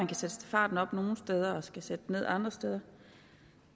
kan sætte farten op og skal sætte ned andre steder